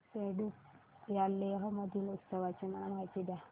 फ्यांग सेडुप या लेह मधील उत्सवाची मला माहिती द्या